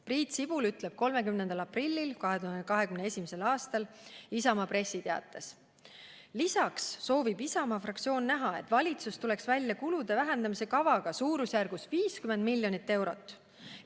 Priit Sibul ütleb 30. aprillil 2021. aastal Isamaa pressiteates: "Lisaks soovib Isamaa fraktsioon näha, et valitsus tuleks välja kulude vähendamise kavaga suurusjärgus 50 miljonit eurot.